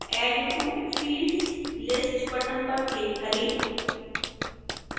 add to fields list button पर click करें